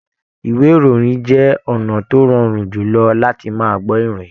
Ìwé ìròyìn jẹ ọnà tó rọrùn jùlọ làti máa gbọ ìròyìn.